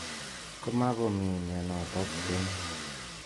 Koma komii mianotok keny.